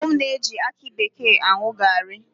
Ụmụ m na-eji aki bekee aṅụ gaarị.